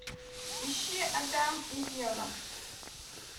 ищи адам и ева